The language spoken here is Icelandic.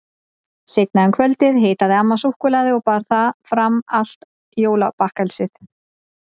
Seinna um kvöldið hitaði amma súkkulaði og bar fram allt jólabakkelsið.